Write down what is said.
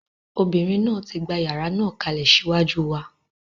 Ọmọbìnrin náà tí gbà yàrá náà kalẹ̀ ṣíwájú wa.